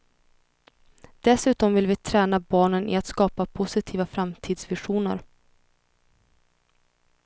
Dessutom vill vi träna barnen i att skapa positiva framtidsvisioner.